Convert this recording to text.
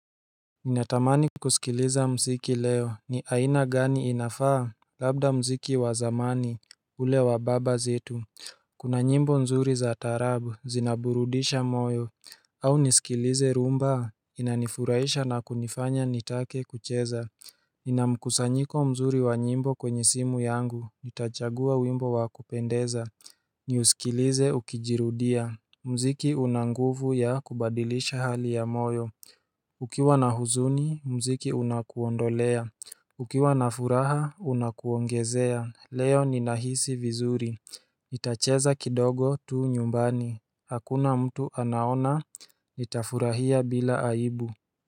Ninatamani kusikiliza muziki leo ni aina gani inafaa Labda muziki wa zamani ule wa baba zetu Kuna nyimbo nzuri za taarabu zinaburudisha moyo au nisikilize rumba inanifuraisha na kunifanya nitake kucheza Ninamkusanyiko mzuri wa nyimbo kwenye simu yangu nitachagua wimbo wa kupendeza Niusikilize ukijirudia mziki una nguvu ya kubadilisha hali ya moyo Ukiwa na huzuni, mziki unakuondolea Ukiwa na furaha, unakuongezea Leo ninahisi vizuri Itacheza kidogo tu nyumbani Hakuna mtu anaona, nitafurahia bila aibu.